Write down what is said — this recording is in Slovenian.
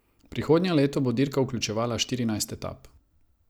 Prihodnje leto bo dirka vključevala štirinajst etap.